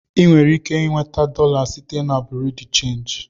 Ị nwere ike nweta dolas site na Buru di chenji